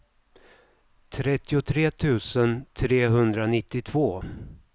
trettiotre tusen trehundranittiotvå